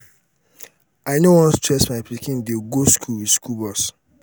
i no wan stress my pikin dey go school with school bus.